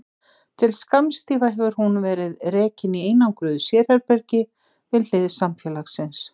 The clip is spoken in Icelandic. Til skamms tíma hefur hún verið rekin í einangruðu sérherbergi við hlið samfélagsins.